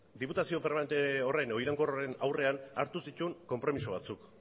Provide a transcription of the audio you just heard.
diputazio permanente horren edo iraunkor horren aurrean hartu zituen konpromiso batzuk